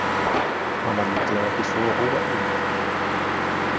Hann var líklega ekki svo óefnilegur.